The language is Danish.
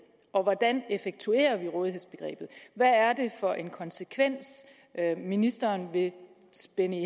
og hvordan effektuerer vi rådighedsbegrebet hvad er det for en konsekvens ministeren vil spænde